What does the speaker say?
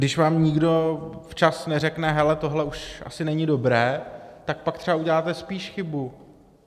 Když vám nikdo včas neřekne: Hele, tohle už asi není dobré, tak pak třeba uděláte spíš chybu.